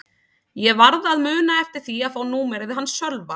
Ég varð að muna eftir því að fá númerið hans Sölva.